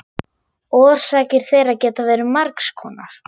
Orsakir þeirra geta verið margs konar.